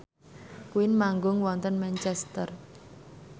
Queen manggung wonten Manchester